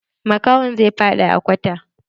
Makahon zai faɗa a kwata.